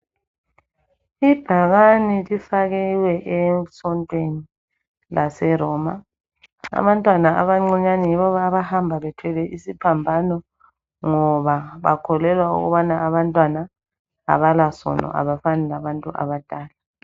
Ibhakane lifakiwe esontweni lase Roma abantwana abancinyane yibo abahamba bethwele isiphambano ngoba bakholelwa ukubana abantwana abalasono abafani labantu abadala.